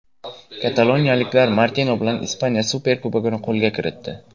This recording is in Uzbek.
Kataloniyaliklar Martino bilan Ispaniya Superkubogini qo‘lga kiritdi.